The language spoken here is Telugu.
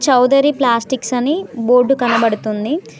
చౌదరి ప్లాస్టిక్స్ అని బోర్డు కనబడుతుంది.